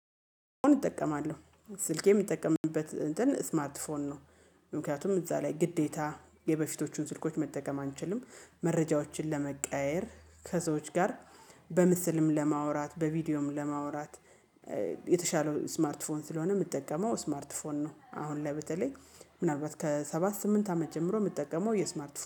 እጠቀማለሁ ስልኬ የምጠቀምበት እንትን ስማርት ፎን ነው። ምክንያቱም እዛ ላይ ግዴታ የበፊቶቹን ስልኮች መጠቀም አንችልም። መረጃዎችን ለመቀያየር ከሰዎች ጋር በምስልም ለማውራት በቪዲዮም ለማውራት። የተሻለው ስማርት ፎን ስለሆነ የምጠቀመው ስማርት ፎን ነው። አሁን ላይ በተለይ ምናልባት ከሰባት ስምንት አመት ጀምሮ የምጠቀመው የስማርት